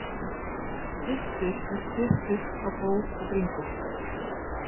Styttur er stutt ull á bóg og bringu.